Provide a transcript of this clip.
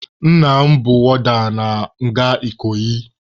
Nna m bụ wọọda na nga Ikoyi.